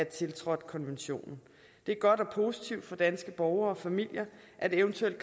tiltrådt konventionen det er godt og positivt for danske borgere og familier at eventuelle